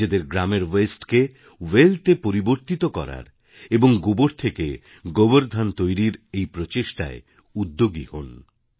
নিজেদের গ্রামের ওয়াস্তে কে ওয়েলথ এ পরিবর্তিত করার এবং গোবর থেকে গোবর ধন তৈরির এই প্রচেষ্টায় উদ্যোগী হোন